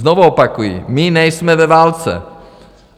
Znova opakuji, my nejsme ve válce.